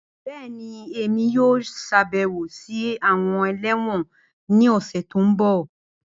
Bẹẹni, Emi yoo ṣabẹwo si awọn ẹlẹwọn ni ọsẹ ti n bọ.